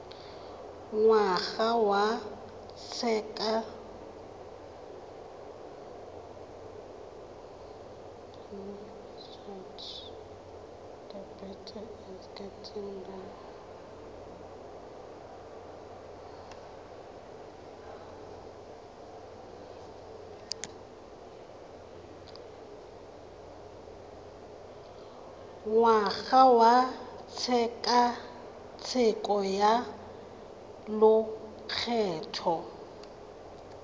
ngwaga wa tshekatsheko ya lokgetho